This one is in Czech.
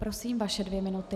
Prosím, vaše dvě minuty.